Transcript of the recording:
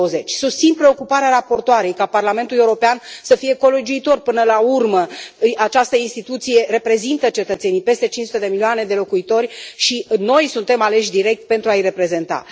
2020. Susțin preocuparea raportoarei ca Parlamentul European să fie colegiuitor, până la urmă această instituție reprezintă cetățenii peste cinci sute de milioane de locuitori, și noi suntem aleși direct pentru a i reprezenta.